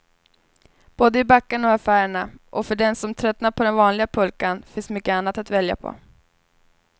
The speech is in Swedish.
Både i backarna och affärerna, och för den som tröttnat på den vanliga pulkan finns mycket annat att välja på.